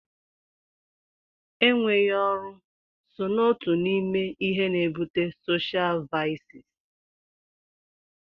Enweghị ọrụ so n'otu n'ime ihe n'ebute soshial vaịsị.